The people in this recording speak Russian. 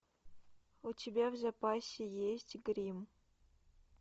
у тебя в запасе есть грим